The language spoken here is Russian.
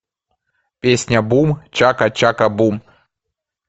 песня бум чака чака бум